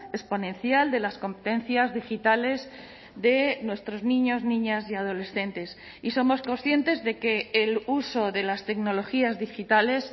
exponencial de las competencias digitales de nuestros niños niñas y adolescentes y somos conscientes de que el uso de las tecnologías digitales